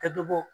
Ka dɔ bɔ bɔ